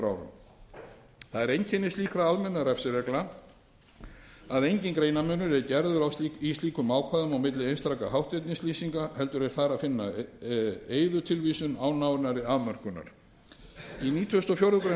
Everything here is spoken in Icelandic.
það er einkenni slíkra almennra refsireglna að enginn greinarmunur er gerður í slíkum ákvæðum á milli einstakra hátternislýsinga heldur er þar að finna eyðutilvísun án nánari afmörkunar í nítugasta og fjórðu grein